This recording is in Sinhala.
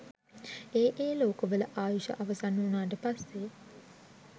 ඒ ඒ ලෝකවල ආයුෂ අවසන් වුණාට පස්සේ